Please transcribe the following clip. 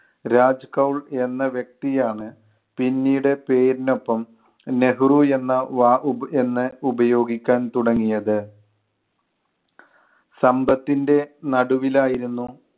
രാജ് കൗൾ എന്ന വ്യക്തി ആണ് പിന്നീട് പേരിനൊപ്പം നെഹ്‌റു എന്ന വാ~ ഉപ്~ എന്ന് ഉപയോഗിക്കാൻ തുടങ്ങിയത്. സമ്പത്തിൻ്റെ നടുവിൽ ആയിരുന്നു